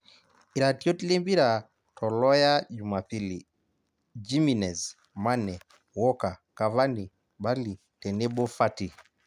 Iratiot Lempira to Loya jumapilli; Jimenez, Mane, Walker, Cavani, bali tenebo Fati